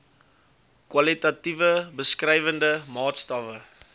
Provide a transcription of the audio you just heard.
kwalitatiewe beskrywende maatstawwe